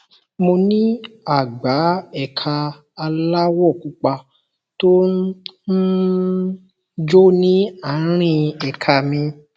mo ní àgbá ẹka aláwọ̀ pupa tó um ń jó ní àárín ẹka mi